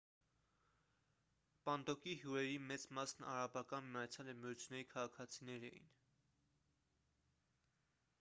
պանդոկի հյուրերի մեծ մասն արաբական միացյալ էմիրությունների քաղաքացիներ էին